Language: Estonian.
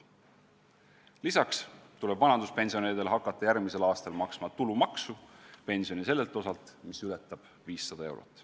Lisaks tuleb vanaduspensionäridel hakata järgmisel aastal maksma tulumaksu pensioni sellelt osalt, mis ületab 500 eurot.